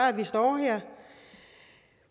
at vi står her